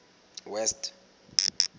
west